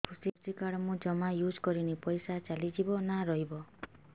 କୃଷି କାର୍ଡ ମୁଁ ଜମା ୟୁଜ଼ କରିନି ପଇସା ଚାଲିଯିବ ନା ରହିବ